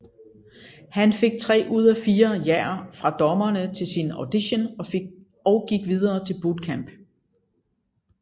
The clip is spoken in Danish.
Han fik 3 ud af 4 jaer fra dommerne til sin audition og gik videre til bootcamp